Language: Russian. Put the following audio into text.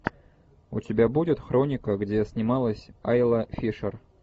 у тебя будет хроника где снималась айла фишер